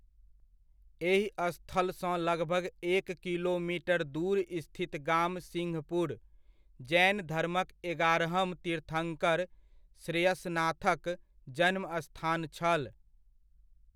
एहि स्थलसँ लगभग एक किलोमीटर दूर स्थित गाम सिंहपुर, जैन धर्मक एगारहम तीर्थंकर श्रेयसनाथक जन्मस्थान छल।